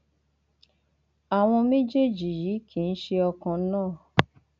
àwọn méjèèjì yìí kì í ṣe ọkan náà